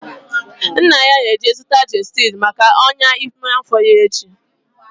Nna ya ga-eje zụta gestid maka ọnyá ime afọ ya echi